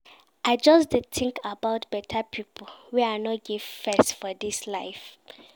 I just dey tink about beta pipo wey I no give face for dis life.